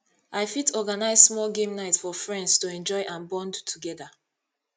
i fit organize small game night for friends to enjoy and bond together